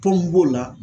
Tɔn b'o la